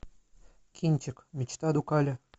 кинчик мечта дукале